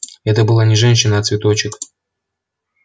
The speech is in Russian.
это была не женщина а цветочек